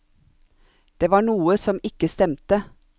Det var noe som ikke stemte.